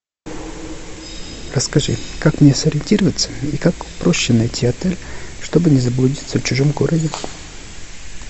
расскажи как мне сориентироваться и как проще найти отель чтобы не заблудиться в чужом городе